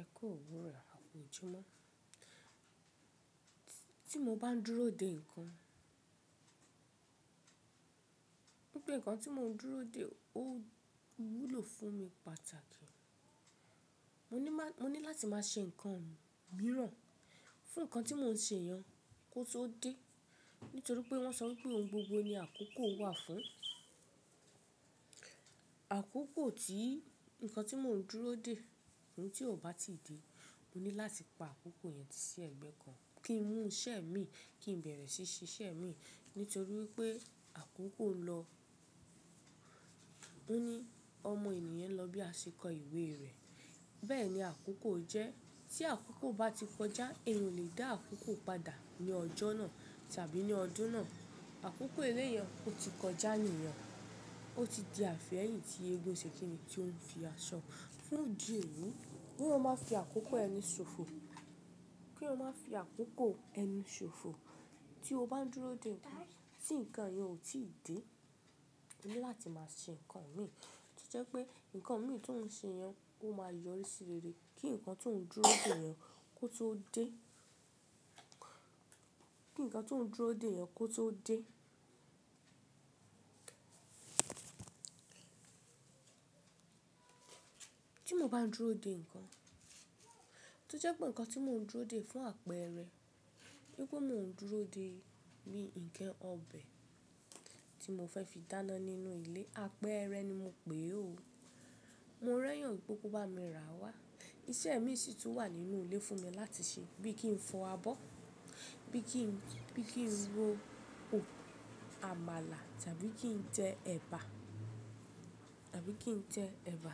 Ẹkú òwúrò akú ojúmọ́. Tí mo bá ń dúró dè ńǹkan, bí pé ńǹkan tí mo ń dúró dè ó wúlò fún mi pàtàkì, mo ní láti máa ṣe ńǹkan mìíràn fún ńǹkan tí mò ń ṣe yẹn kó tó dé. Nítorí pé wọ́n sọ wípé ohun gbogbo ni àkókò wà fún. Àkókò tí ńǹkan tí mò ń dúró dè, tí ó bá ti dé, mo ní láti pa àkókò yẹn sí ẹ̀gbẹ́ kan kí n mú ṣẹ́ mi kí n bẹ̀rẹ̀ sí ṣiṣẹ́ mi. Nítorí wípé àkókò ń lọ. Ó ní ọmọ ènìyàn ń lọ bí àṣekọ ìwé rẹ̀. Bẹ́ẹ̀ ni àkókò jẹ́. Tí àkókò bá ti kọjá, èèyàn ò lè dá àkókò padà ní ọjọ́ náà tàbí ní ọdún náà. Àkókò eléyọn ó ti kọjá níìyàn. Ó ti di àfi'ẹ́yìn tì eégún ńṣẹ́kìnní tí o ń fi aṣọ, fún ìdí èyí. K'éyàn má fi àkókò ẹni ṣòfò. Kí ò má fi àkókò ẹni ṣòfò. Tí o bá ń dúró dè ńǹkan, tí ńǹkan yẹn ò tí ì dé, o ní láti máa ṣe ńǹkan míì. Tó jẹ́ pé ńǹkan mi tí ò ń ṣe yẹn ó máa yọrí sí rere. Kí ńǹkan tí mò ń dúró dè yẹn kó tó dé. Kí ńǹkan tí mò ń dúró dè yẹn kó tó dé. Tí mo bá ń dúró dè ńǹkan, tí ó jẹ́ pé ńǹkan tí mò ń dúró dè fún àpẹẹrẹ, wípé mò ń dúró dè bi ǹkan ọbẹ̀ tí mò fẹ́ fi dáná nínú ilé. Àpẹẹrẹ ni mo pè é o. Mo rẹ́yàn wípé kó bá mi ràá wá. Iṣẹ́ miì sì tún wà nínú ilé fún mi láti ṣe. Bí i kí n fọ abọ́, bí i kí n, bí i kí n ro o àmàlà tàbí kí n tẹ ẹ̀bà, tàbí kí n tẹ ẹ̀bà.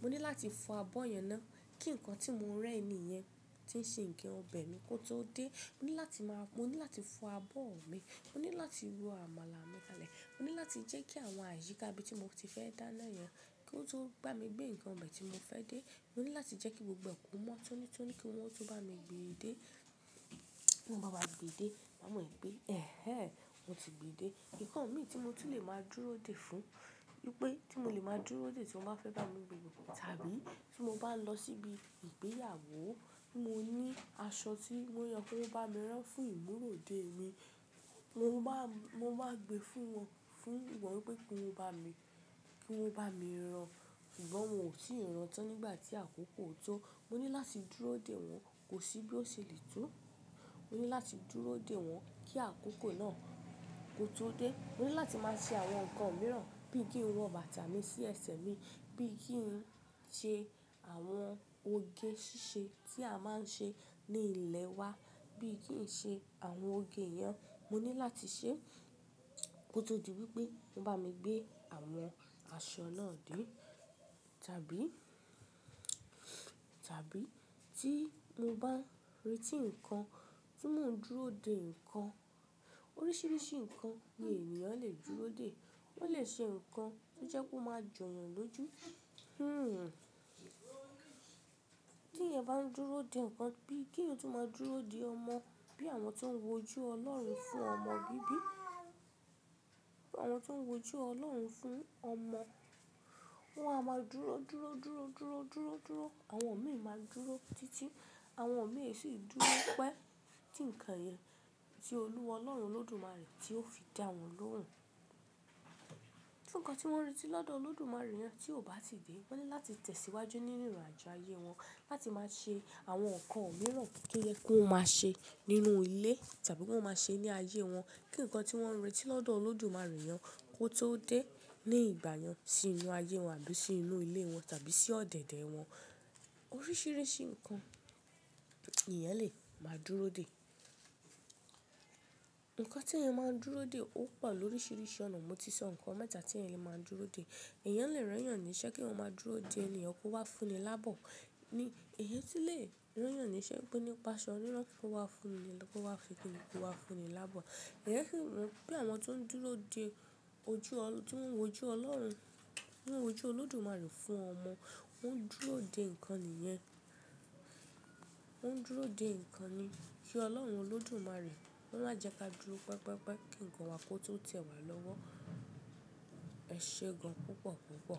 Mo ní láti fọ abọ́ yẹn ná. Kí ńǹkan tí mo rán ẹni yẹn tí ń ṣe ǹkan ọbẹ̀ mi kó tó dé. Mo ní láti máa, mo ní láti fọ abọ́ mi. Mo ní láti ro àmàlà mi lálẹ́. Mo ní láti jẹ́ kí àwọn àyíkà ibí i tí mo ti fẹ́ dáná yẹn kó tó bá mi gbé ǹkan ọbẹ̀ tí mo fẹ́ dé. Mo ní láti jẹ́ kí gbogbo ẹ kó mọ́ tọ́ni tọ́ni kí wọ́n tó bá mi gbe dé. Tí wọ́n bá wá gbe dé, màá mọ̀ wípé "ẹhẹ́n wọ́n ti gbe dé". Ǹkan mi tí mo ti lè máa dúró dè fún, wípé tí mo lè máa dúró dè tí wọ́n bá fẹ́ bá mi gbe tàbí tí mo bá ń lọ síbi ìgbéyàwó, mo ní aṣọ tí mò ń yàn kí wọ́n bá mi rán fún ìmúra òde mi. Mo máa, mo máa gbe fún wọn, fún wọ́n wípé kí wọ́n bá mi, kí wọ́n bá mi rán. Sùngbọ́n wọ́n ò tíì rán tán nígbà tí àkókò tó. Mo ní láti dúró dè wọ́n, kò sí bí ó ṣe lè tó. Mo ní láti dúró dè wọ́n kí àkókò náà kó tó dé. Mo ní láti máa ṣe àwọn ńǹkan mìíràn bí i kí n wọ bàtà mi sí ẹ̀sẹ̀ mi, bí i kí n ṣe àwọn oge ṣíṣe tí a máa ń ṣe ní ilẹ̀ wa, bí i kí n ṣe àwọn oge yẹn. Mo ní láti ṣeé kó tó di wípé wọ́n bá mi gbé àwọn aṣọ náà dé. Tàbí, tàbí tí mo bá ń retí ńǹkan, tí mò ń dúró dè ńǹkan. Oríṣiríṣi ńǹkan ni èèyàn lè dúró dè. Ó lè ṣe ńǹkan tí ó jẹ́ kó máa jọ́ yàn lójú. Hmm. T'èèyàn bá ń dúró dè ńǹkan bí i kí èèyàn tún máa dúró dè ọmọ, bí àwọn tó ń wo ojú Ọlọ́run fún ọmọ bíbí. Àwọn tó ń wo ojú Ọlọ́run fún ọmọ. Wọn á máa dúró, dúró, dúró, dúró, dúró, dúró. Àwọn omìí máa dúró títí àwọn omìí ee sì dúró pẹ́ tí ńǹkan yẹn tí Olúwa Ọlọ́run Olódùmarè tí ó fi dá wọn lóhùn. Fún ńǹkan tí wọ́n ń retí lọ́dọ̀ Olódùmarè yẹn tí ò bá ti dé, wọ́n ní láti tẹ̀síwájú nínú ìrìnàjò ayé wọn, láti máa ṣe àwọn ńǹkan mìíràn tí'ó yẹ kí wọ́n máa ṣe nínú ilé tàbí kí wọ́n máa ṣe ní ayé wọn. Kí ńǹkan tí wọ́n ń retí lọ́dọ̀ Olódùmarè yẹn kó tó dé ní ìgbà yẹn sínú ayé wọn àbí sínú ilé wọn tàbí sí ọ̀dẹ̀dẹ̀ wọn. Oríṣiríṣi ńǹkan èèyàn lè máa dúró dè. Ǹkan tí èèyàn máa ń dúró dè ó pọ̀ lóríṣiríṣi ọ̀nà. Mo ti sọ ńǹkan mẹ́ta tí èèyàn lè máa dúró dè. Èèyàn lè rẹ́yàn níṣẹ́ kí wọ́n máa dúró dè ẹni yẹn kó wá fún ni láàbọ́. Ni, èèyàn sì lè rẹ́yàn níṣẹ́ wípé ó nípasọ níran kó wá fún ni, kó wá ṣe kíni kó wá fún ni láàbọ̀. Ǹjẹ́ kí wọ́n, bí àwọn tó ń dúró dè ojú ọl-- tí wọ́n ń wo ojú Ọlọ́run, tí'wọ́n w' ojú Olódùmarè fún ọmọ, wọ́n ń dúró dè ńǹkan nìyẹn. Wọ́n ń dúró dè ńǹkan ni. Kí Ọlọ́run Olódùmarè wọ́n má'jẹ ka dúró pẹpẹ́pẹ́ kí ńǹkan wa kó tó tẹ̀ wá lọ́wọ́. Ẹ ṣe gan púpọ̀ púpọ̀.